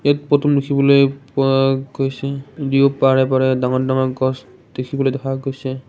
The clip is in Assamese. ইয়াত পদুম দেখিবলৈ পোৱা গৈছে দুয়ো পাৰে পাৰে ডাঙৰ ডাঙৰ গছ দেখিবলৈ দেখা গৈছে।